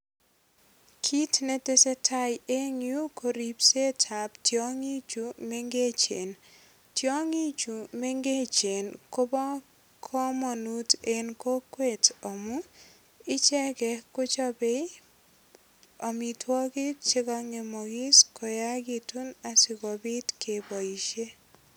Kit netesetai eng yu koripsetab tiongichu mengechen. Tiongichu mengechen koba kamanut eng kokwet amu icheget kochobei amitwogik che kongemogis koyagitun asigopit keboisie.